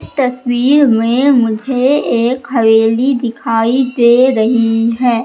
स तस्वीर में मुझे एक हवेली दिखाई दे रही है।